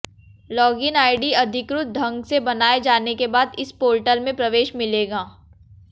login ID अधिकृत ढंग से बनाए जाने के बाद इस पोर्टल में प्रवेश मिलेगा